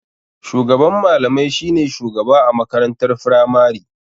Shugaban malamai shi ne shugaba a makarantar firamari.